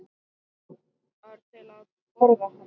ar til að borða hana.